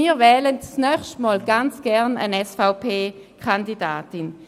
Wir wählen das nächste Mal ganz gerne eine SVP-Kandidatin.